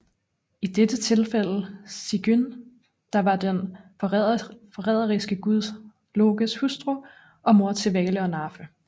I dette tilfælde Sigyn der var den forræderiske gud Lokes hustru og mor til Vale og Narfe